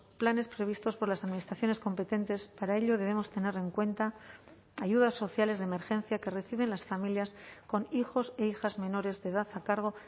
planes previstos por las administraciones competentes para ello debemos tener en cuenta ayudas sociales de emergencia que reciben las familias con hijos e hijas menores de edad a cargo